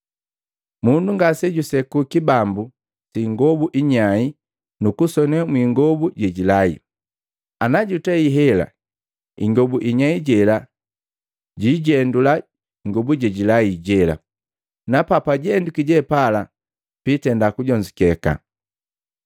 “Mundu ngasejuseku kibambu si ingobu inyai nukusone mwiingobu jejilaile. Ana jutei hela, ingobu inyai jela jiijendula ingobu jejilai jela, na papajendwiki jepala piitenda kujonzukeka. Kibambu kinyai|alt="New patch" src="11 Unshrunk Patch.jpg" size="col" ref="9:16"